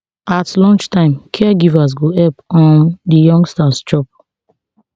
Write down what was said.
at lunchtime caregivers go help um di youngsters chop